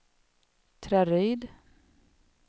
Traryd